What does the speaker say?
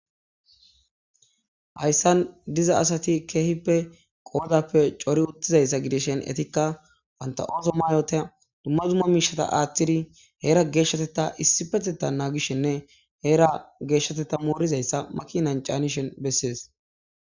Hayssan diza asati keehippe qoodappe cori uttizayssa gideshen etikka panta'ooso maayota dumma zumma miishata aaththiri heera geeshshateta issipeteta naagishenne heera geeshshateta moorizayssa makinan caanishen bessees.